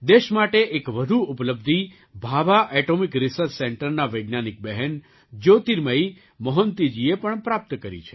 દેશ માટે એક વધુ ઉપલબ્ધિ ભાભા એટૉમિક રિસર્ચ સેન્ટરનાં વૈજ્ઞાનિક બહેન જ્યોતિર્મયી મોહંતીજીએ પણ પ્રાપ્ત કરી છે